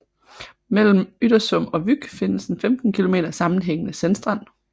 Mellem Yttersum og Vyk findes en 15 km sammenhængende sandstrand